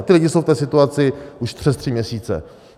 A ti lidé jsou v té situaci už přes tři měsíce.